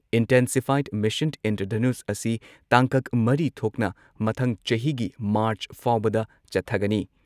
Intensified mission Indradhanush ꯑꯁꯤ ꯇꯥꯡꯀꯛ ꯃꯔꯤ ꯊꯣꯛꯅ ꯃꯊꯪ ꯆꯍꯤꯒꯤ ꯃꯥꯔꯆ ꯐꯥꯎꯕꯗ ꯆꯠꯊꯒꯅꯤ ꯫